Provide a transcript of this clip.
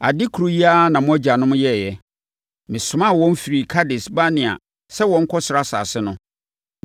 Ade koro yi ara na mo agyanom yɛeɛ. Mesomaa wɔn firii Kades-Barnea sɛ wɔnkɔsra asase no